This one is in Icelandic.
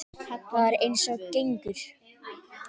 Það er eins og gengur.